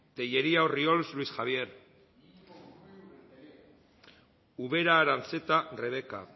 tellería orriols luis javier ubera aranzeta rebeka